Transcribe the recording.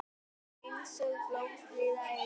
Allt einsog blómstrið eina.